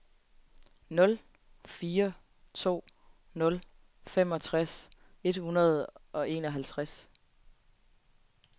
nul fire to nul femogtres et hundrede og enoghalvtreds